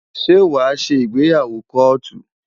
Ṣé wàá ṣe ìgbéyàwó kóòtù?